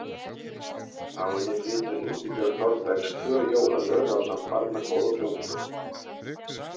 Á henni flytur Ingibjörg Þorbergs tvö jólalög ásamt barnakór og hljómsveit.